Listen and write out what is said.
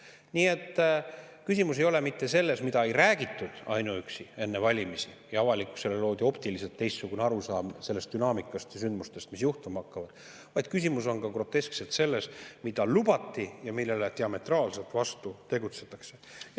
Nii et küsimus ei ole mitte ainuüksi selles, mida ei räägitud enne valimisi ning et avalikkusele loodi optiliselt teistsugune arusaam dünaamikast ja sündmustest, mis juhtuma hakkavad, vaid küsimus on ka groteskselt selles, mida lubati ja millele diametraalselt vastu tegutsetakse.